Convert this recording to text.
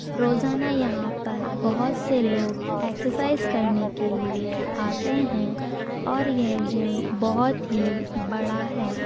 रोजाना यहाँ पर बहुत से लोग एक्सरसाइज करने के लिए आते हैं और यह जिम बोहोत ही बड़ा है।